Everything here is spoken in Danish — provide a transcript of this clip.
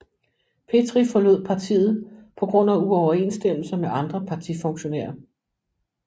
Petry forlod partiet på grund af uoverensstemmelser med andre partifunktionærer